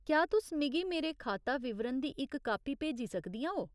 क्या तुस मिगी मेरे खाता विवरण दी इक कापी भेजी सकदियां ओ ?